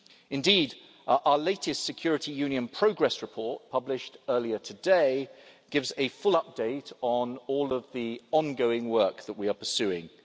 Indeed, our latest Security Union progress report, published earlier today, gives a full update on all of the ongoing work we are pursuing.